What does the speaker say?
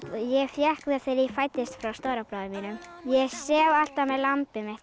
ég fékk það þegar ég fæddist frá stóra bróður mínum ég sef alltaf með lambið mitt